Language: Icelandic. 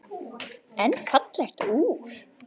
En fallegt úr.